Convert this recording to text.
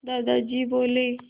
दादाजी बोले